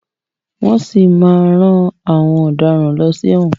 Wọ́n si máa má rán àwọn ọ̀daràn lọ sí ẹ̀wọ̀n.